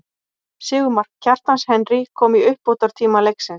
Sigurmark, Kjartans Henry kom í uppbótartíma leiksins.